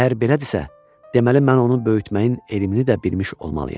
Əgər belədirsə, deməli mən onu böyütməyin elmini də bilmiş olmalıyam.